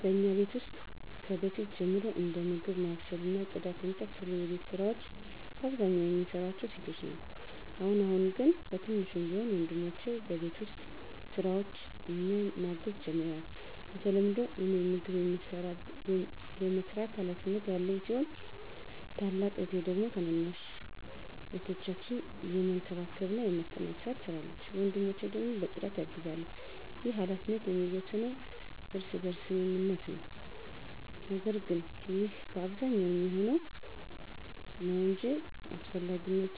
በእኛ ቤት ውስጥ ከበፊት ጀምሮ እንደ ምግብ ማብሰል እና ጽዳት የመሳሰሉ የቤት ስራወች በአብዛኛው የምንሰራው ሴቶች ነን። አሁን አሁን ግን በትንሹም ቢሆን ወንድሞቸ በቤት ውስጥ ስራዎች እኛን ማገዝ ጀምረዋል። በተለምዶ እኔ ምግብ የመስራት ሀላፊነት ያለኝ ሲሆን ታላቅ እህቴ ደግሞ ታናናሽ እህቶቻችንን የመንከባከብና የማስጠናት ስራ ትሰራለች። ወንድሞቸ ደግሞ በፅዳት ያግዛሉ። ይህ ሀላፊነት የሚወሰነው በእርስ በርስ ስምምነት ነው። ነገር ግን ይህ በአብዛኛው የሚሆነው ነው እንጅ እንዳስፈላጊነቱ